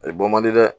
Ayi bɔ man di dɛ